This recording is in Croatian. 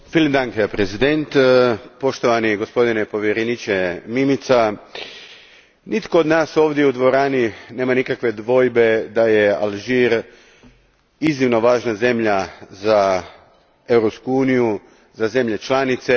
Gospodine predsjedniče, poštovani gospodine povjereniče Mimica, nitko od nas ovdje u dvorani nema nikakve dvojbe da je Alžir iznimno važna zemlja za Europsku uniju, za zemlje članice.